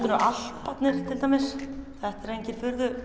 eru Alparnir til dæmis þetta eru engin